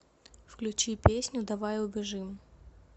включить песню давай убежим